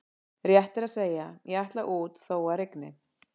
Rétt er að segja: ég ætla út þó að rigni